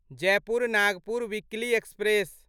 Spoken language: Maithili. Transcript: Jaipur Nagpur weekly express